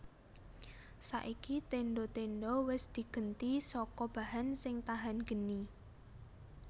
Saiki tendha tendha wis digenti saka bahan sing tahan geni